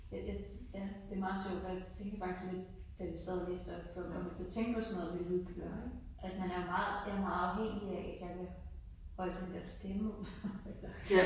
Jeg jeg ja det meget sjovt da tænkte jeg faktisk lidt da vi sad og læste op før så kom jeg til at tænke på sådan noget med lydbøger ik at man er jeg er meget afhængig af jeg kan holde den der stemme ud